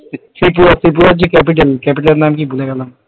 ত্রিপুরা ত্রিপুরার capital capital এর যে নামটা কি ভুলে গেলাম,